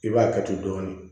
I b'a kɛ ten dɔɔni